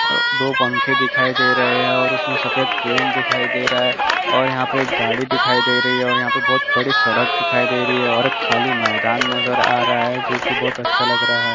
दो पंखे दिखाई दे रहे है और उसमे सफ़ेद पेंट दिखाई दे रहा है और यहाँ पर एक गाड़ी दिखाई दे रही है और यहाँ पे एक बहुत बड़ी सड़क दिखाई दे रही है और खाली मैदान नज़र आ रहा है जो कि बहोत अच्छा लग रहा है।